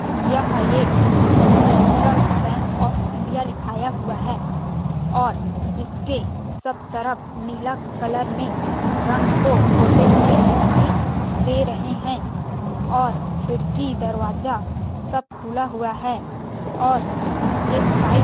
यह एक central bank of India लिखाया हुआ है और जिसके सब तरफ नीला कलर में रंग को पोते हुए दिखाई दे रहे हैं और खिड़की दरवाजा सब खुला हुआ है और एक साइट --